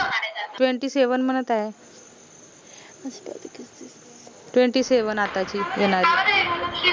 twentyseven म्हनत आय twenty-seven आताची